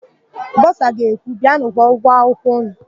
Bọsa ga-ekwu, "bịanụ kwụọ ụgwọ akwụkwọ ụnụ"!